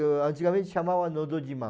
antigamente chamava Nodojiman.